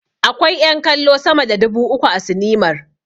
Akwai ƴan kallo sama da dubu uku a sinimar.